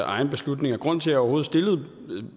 egen beslutning grunden til at jeg overhovedet stillede